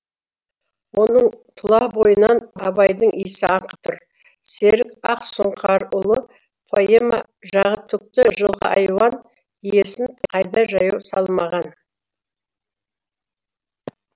оның тұла бойынан абайдың иісі аңқып тұр серік ақсұңқарұлы поэма жағы түкті жылқы айуан иесін қайда жаяу салмаған